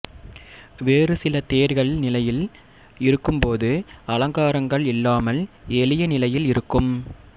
வேறு சில தேர்கள் நிலையில் இருக்கும் போது அலங்காரங்கள் இல்லாமல் எளிய நிலையில் இருக்கும்